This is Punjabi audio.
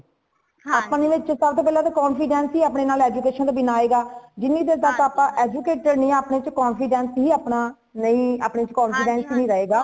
ਅਪਣੇ ਵਿੱਚ ਤਦ level confidence ਹੀ ਅਪਣੇ ਨਾਲ education ਤੇ ਬਿਨਾਂ ਆਏਗਾ ਜਿਨੀ ਚੀਰ ਆਪਾ educated ਨਹੀਂ ਅਪਣੇ ਵਿੱਚ confidence ਹੀ ਆਪਣਾ ਨਹੀਂ ਆਪਣੇ ਵਿੱਚ confidence ਨਹੀਂ ਰਹੇਗਾ